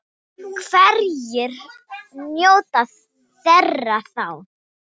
Hverjir njóta þeirra þá?